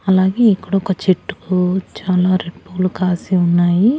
అలాగే ఇక్కడొక చెట్టుకు చాలా రెడ్ పూలు కాసి ఉన్నాయి.